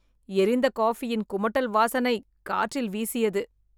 எரிந்த காஃபியின் குமட்டல் வாசனை காற்றில் வீசியது